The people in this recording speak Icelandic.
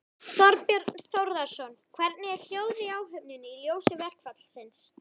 Þorbjörn Þórðarson: Hvernig er hljóðið í áhöfninni í ljósi verkfallsins?